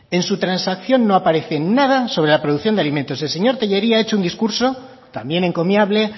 en su transacción no aparece nada sobre la producción de alimentos el señor tellería ha hecho un discurso también encomiable